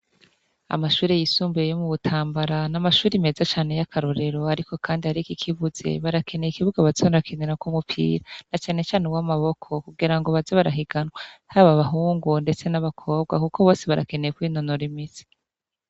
Amashure yisumbuye yo mu Butambara, ni amashure meza cane y'akarorero. Ariko kandi hariho ikikibuze, barakeneye ikibuga baza barakinirako umupira, na cane cane uw'amaboko, kugira ngo baze barahiganwa, haba abahungu, ndetse n'abakobwa; kuko bose barakeneye kwinonora imitsi.